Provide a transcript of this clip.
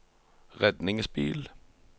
redningsbil